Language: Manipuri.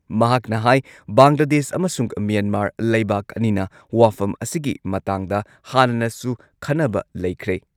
ꯃꯍꯥꯛꯅ ꯍꯥꯏ ‑ ꯕꯪꯒ꯭ꯂꯥꯗꯦꯁ ꯑꯃꯁꯨꯡ ꯃ꯭ꯌꯦꯟꯃꯥꯔ ꯂꯩꯕꯥꯛ ꯑꯅꯤꯅ ꯋꯥꯐꯝ ꯑꯁꯤꯒꯤ ꯃꯇꯥꯡꯗ ꯍꯥꯟꯅꯅꯁꯨ ꯈꯟꯅꯕ ꯂꯩꯈ꯭ꯔꯦ ꯫